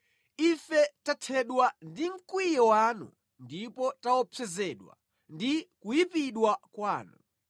Ife tathedwa ndi mkwiyo wanu; ndipo taopsezedwa ndi kuyipidwa kwanu.